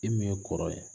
E min ye kɔrɔ ye